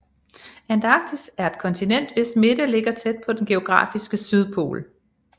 Antarktis er et kontinent hvis midte ligger tæt på den geografiske sydpol